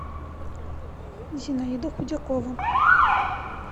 зинаида худякова